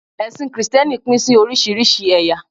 ẹsìn Kristẹni Pin sí orísirísi eya